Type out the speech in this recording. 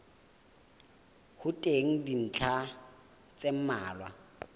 ho teng dintlha tse mmalwa